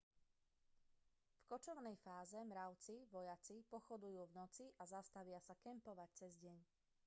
v kočovnej fáze mravci vojaci pochodujú v noci a zastavia sa kempovať cez deň